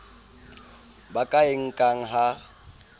ba ka e nkang ha